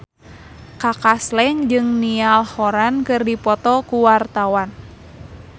Kaka Slank jeung Niall Horran keur dipoto ku wartawan